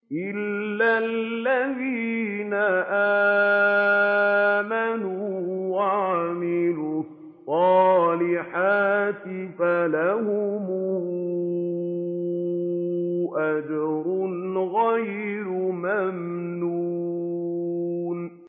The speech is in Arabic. إِلَّا الَّذِينَ آمَنُوا وَعَمِلُوا الصَّالِحَاتِ فَلَهُمْ أَجْرٌ غَيْرُ مَمْنُونٍ